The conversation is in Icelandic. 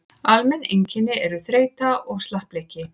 almenn einkenni eru þreyta og slappleiki